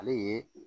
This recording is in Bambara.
Ale ye